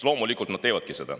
Loomulikult nad nüüd teevadki seda.